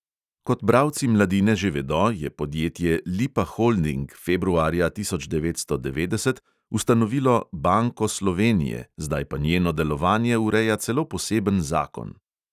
Kot bralci mladine že vedo, je podjetje lipa holding februarja tisoč devetsto devetdeset ustanovilo banko slovenije, zdaj pa njeno delovanje ureja celo poseben zakon.